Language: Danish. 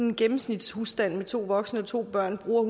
en gennemsnitshusstand med to voksne og to børn bruger